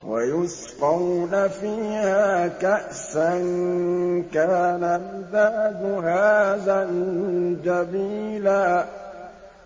وَيُسْقَوْنَ فِيهَا كَأْسًا كَانَ مِزَاجُهَا زَنجَبِيلًا